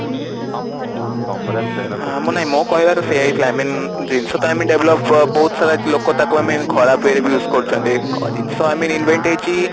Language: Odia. ମାନେ ମୋ କହିବାର ସେଇଆ ହିଁ I mean ଜିନିଷ ତ ଆମେ develop ବହୁତ ସାରା ଲୋକ ତାକୁ I mean ଖରାପ ଇଏ ରେ ବି use କରୁଛନ୍ତି ଜିନିଷ ଆମେ invent ହେଇଛି